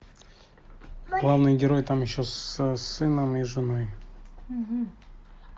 главный герой там еще с сыном и женой